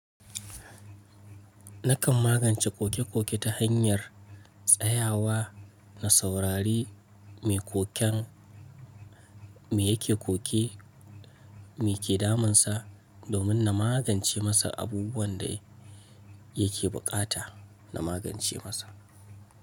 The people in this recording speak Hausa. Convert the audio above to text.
Nakan magance koke-koke ta hanyar tsayawa na saurari mai koken mai yake koken, me ke damunsa, domin na magance masa abubuwan da yake bukata na magance masa.